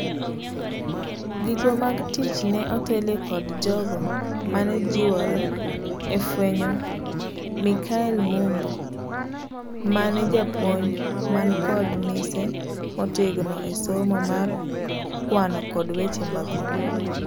Gigwa mag tich ne otelie kod jago mane joriwre efuenyo Michael Mumbo, mane japuonj man kod mise motegno esomo mar kwano kod weche mag mbui.